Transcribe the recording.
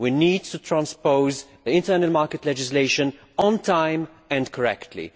We need to transpose internal market legislation on time and correctly.